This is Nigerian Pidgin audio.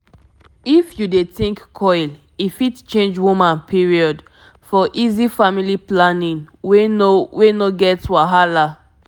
if you dey think coil e fit change woman period --for easy family planning wey no wey no get wahala. pause small